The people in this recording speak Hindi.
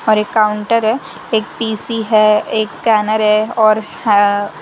और एक काउंटर है एक पी_सी है एक स्कैनर है और--